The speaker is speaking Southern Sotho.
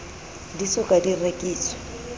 di so ka di rekiswa